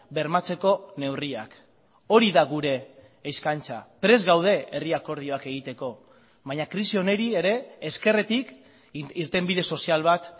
bermatzeko neurriak hori da gure eskaintza prest gaude herri akordioak egiteko baina krisi honi ere ezkerretik irtenbide sozial bat